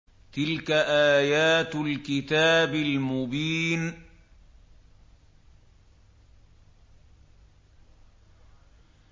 تِلْكَ آيَاتُ الْكِتَابِ الْمُبِينِ